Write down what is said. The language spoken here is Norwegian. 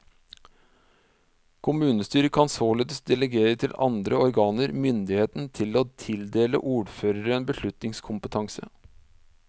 Kommunestyret kan således delegere til andre organer myndigheten til å tildele ordføreren beslutningskompetanse.